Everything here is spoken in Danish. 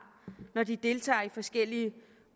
når de deltager i forskellige